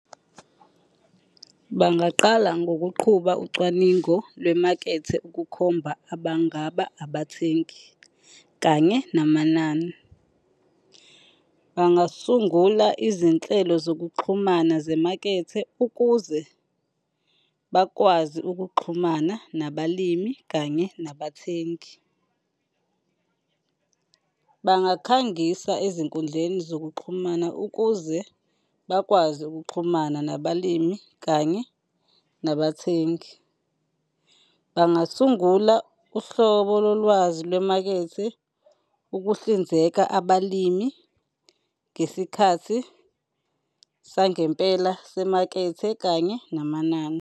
Bangaqala ngokuqhuba ucwaningo lwemakethe ukukhomba abangaba abathengi kanye namanani. Bangasungula izinhlelo zokuxhumana zemakethe ukuze bakwazi ukuxhumana nabalimi kanye nabathengi. Bangakhangisa ezinkundleni zokuxhumana ukuze bakwazi ukuxhumana nabalimi kanye nabathengi. Bangasungula uhlobo lolwazi lwemakethe ukuhlinzeka abalimi ngesikhathi sangempela semakethe kanye namanani.